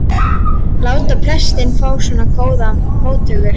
láta prestinn fá svona góðar móttökur.